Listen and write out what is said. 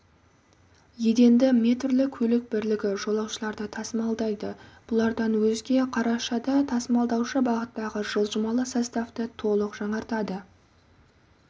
еденді метрлі көлік бірлігі жолаушыларды тасымалдайды бұлардан өзге қарашада тасымалдаушы бағыттағы жылжымалы составты толық жаңартады